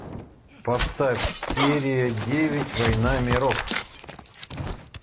поставь серия девять война миров